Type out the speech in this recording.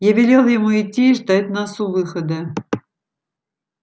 я велел ему идти и ждать нас у выхода